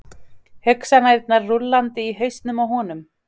Hugsanirnar rúllandi í hausnum á honum.